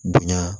Bonya